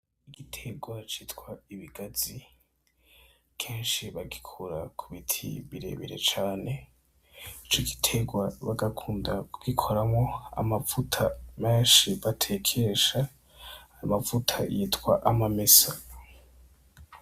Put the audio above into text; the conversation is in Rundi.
Igiterwa citwa ibigazi kenshi bagikura ku biti birebire cane. Ico giterwa bagakunda kugikoramwo amavuta menshi batekesha, amavuta bita amamesa.